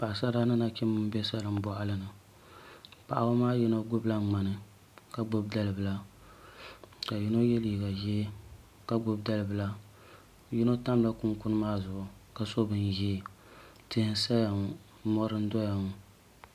Paɣasara ni nachimbi n bɛ dalin boɣali ni paɣaba maa yino gbubila ŋmani ka gbubi dalibila ka yino yɛ liiga ʒiɛ ka gbubi dalibila yino tamla kunkun maa zuɣu ka so bini ʒiɛ tihi n saya ŋo mori n doya ŋo